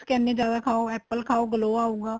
ਕਹਿਣੇ ਏ ਜਿਆਦਾ ਖਾਹੋ apple ਖਾਓ glow ਆਉਗਾ